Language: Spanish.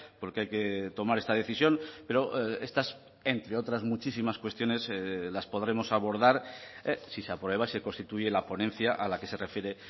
porque hay que tomar esta decisión pero estas entre otras muchísimas cuestiones las podremos abordar si se aprueba se constituye la ponencia a la que se refiere